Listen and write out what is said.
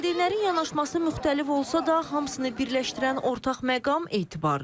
Valideynlərin yanaşması müxtəlif olsa da, hamısını birləşdirən ortaq məqam etibardır.